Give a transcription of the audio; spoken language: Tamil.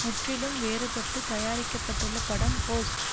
முற்றிலும் வேறுபட்டுத் தயாரிக்க பட்டுள்ள படம் ஹோஸ்ட்